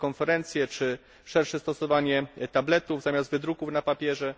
telekonferencje czy szersze stosowanie tabletów zamiast wydruków na papierze.